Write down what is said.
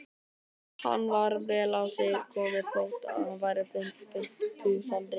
Hann var vel á sig kominn þótt hann væri á fimmtugsaldri.